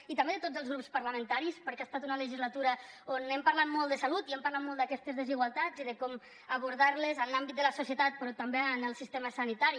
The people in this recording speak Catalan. i també de tots els grups parlamentaris perquè ha estat una legislatura on hem parlat molt de salut i hem parlat molt d’aquestes desigualtats i de com abordar les en l’àmbit de la societat però també en el sistema sanitari